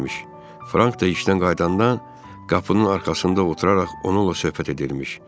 Frank da işdən qayıdandan qapının arxasında oturaraq onunla söhbət edirmiş.